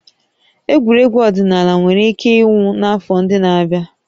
Egwuregwu ọdịnala nwere ike ịnwụ n'afọ ndị na-abịa